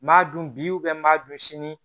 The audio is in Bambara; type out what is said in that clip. N m'a dun bi n b'a don sini